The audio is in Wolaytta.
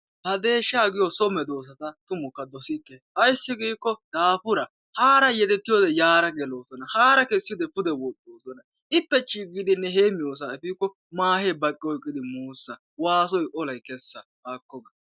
Ha deeshshaa giyo so medoossata tumukka dosikke ayissi giikkoo daafuraa haara yedettiyoode yaara geloosona haara kessiyoode pude woxxoosona ippe chii giidinne heemmiyoosaa efiikko maahee baqqi oyqqidi muussa waasoyi olayi kessa haakko ga.